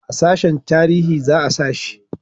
a sashen tarihi za a sa shi